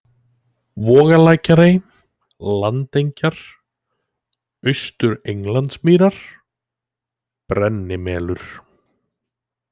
Vogalækjarey, Landengjar, Austur-Englandsmýrar, Brennimelur